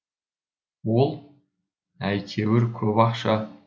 ол әйтеуір көп ақша